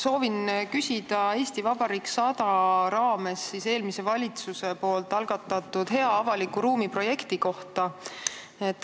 Soovin küsida "Eesti Vabariik 100" raames eelmise valitsuse algatatud "Hea avaliku ruumi" programmi kohta.